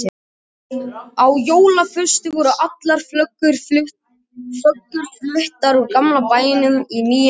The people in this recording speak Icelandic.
Á jólaföstu voru allar föggur fluttar úr gamla bænum í nýja Sæból.